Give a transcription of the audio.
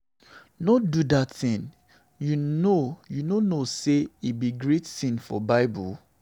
No do dat thing. You no know say e be great sin for bible.